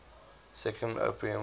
second opium war